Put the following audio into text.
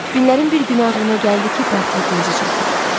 Günlərin bir günü ağlıma gəldi ki, portretinizi çəkim.